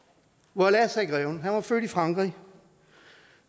voila sagde greven han var født i frankrig